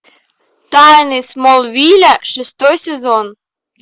тайны смолвиля шестой сезон